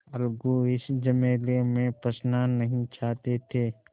अलगू इस झमेले में फँसना नहीं चाहते थे